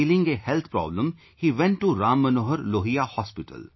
Feeling a health problem, He went to Ram Manohar Lohiya hospital